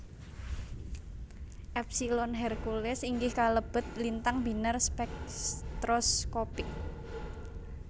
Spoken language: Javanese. Epsilon Herculis inggih kalebet lintang binar spektroskopik